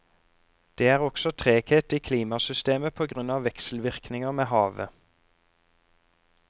Det er også treghet i klimasystemet på grunn av vekselvirkninger med havet.